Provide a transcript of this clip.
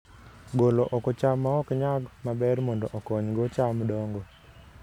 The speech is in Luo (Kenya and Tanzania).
Golo oko cham maok nyag maber mondo okonygo cham dongo